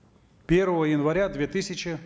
первого января две тысячи